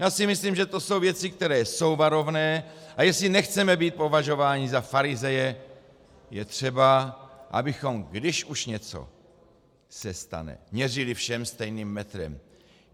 Já si myslím, že to jsou věci, které jsou varovné, a jestli nechceme být považováni za farizeje, je třeba, abychom, když už něco se stane, měřili všem stejným metrem.